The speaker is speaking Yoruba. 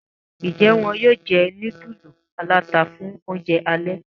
Njé wón yóò jé nudulu alata fún oúnjẹ alè?